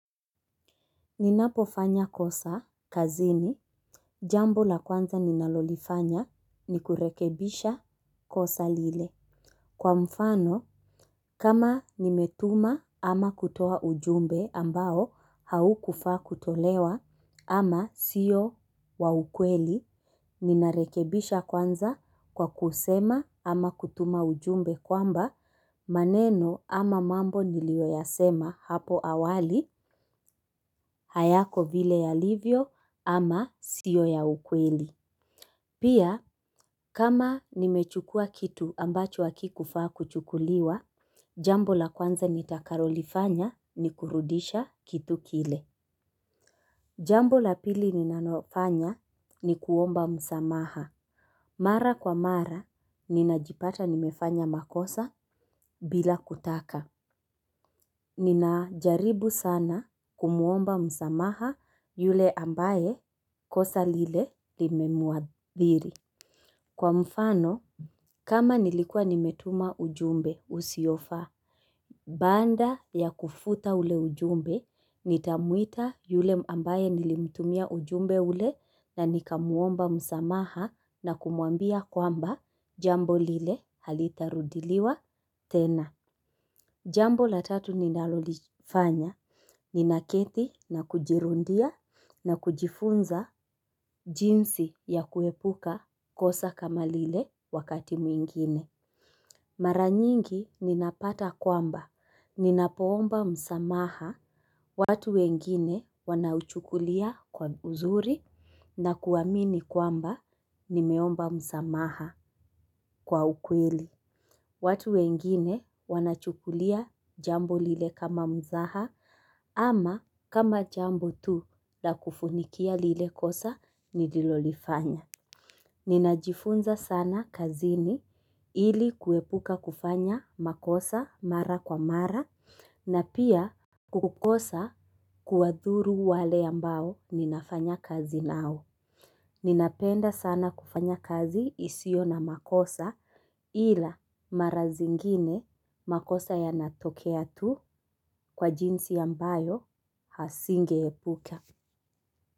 Ninapofanya kosa, kazini, jambo la kwanza ninalolifanya ni kurekebisha kosa lile. Kwa mfano, kama nimetuma ama kutoa ujumbe ambao haukufaa kutolewa ama sio wa ukweli, ninarekebisha kwanza kwa kusema ama kutuma ujumbe kwamba maneno ama mambo nilioyasema hapo awali, hayako vile yalivyo ama sio ya ukweli. Pia, kama nimechukua kitu ambacho hakikufaa kuchukuliwa, jambo la kwanza nitakalolifanya ni kurudisha kitu kile. Jambo la pili ninanofanya ni kuomba msamaha. Mara kwa mara, ninajipata nimefanya makosa bila kutaka. Ninajaribu sana kumuomba msamaha yule ambaye kosa lile limemuadhiri. Kwa mfano, kama nilikua nimetuma ujumbe usiofaa, baada ya kufuta ule ujumbe, nitamuita yule ambaye nilimtumia ujumbe ule na nikamuomba msamaha na kumwambia kwamba jambo lile halitarudiliwa tena. Jambo la tatu ninalolifanya nina keti na kujirundia na kujifunza jinsi ya kuepuka kosa kama lile wakati mwingine. Mara nyingi ninapata kwamba ninapoomba msamaha watu wengine wanachukulia kwa uzuri na kuamini kwamba nimeomba msamaha kwa ukweli. Watu wengine wanachukulia jambo lile kama mzaha ama kama jambo tu la kufunikia lile kosa ni nilolifanya. Ninajifunza sana kazini ili kuepuka kufanya makosa mara kwa mara na pia kukosa kuwadhuru wale ambao ninafanya kazi nao. Ninapenda sana kufanya kazi isiyo na makosa ila mara zingine makosa yanatokea tu kwa jinsi ambayo hazingeepukea.